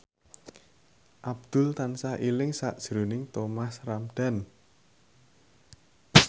Abdul tansah eling sakjroning Thomas Ramdhan